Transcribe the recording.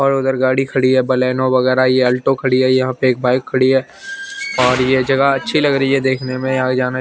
और उधर गाड़ी खड़ी है बलेनो वगेरा ये अल्टो खड़ी है यहाँं पे एक बाइक खड़ी है और ये जगह अच्छी लग रही है देखने में और जाने --